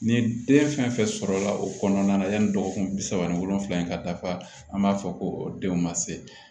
Ni den fɛn fɛn sɔrɔla o kɔnɔna na yanni dɔgɔkun bi saba ni wolonvila in ka dafa an b'a fɔ ko denw ma se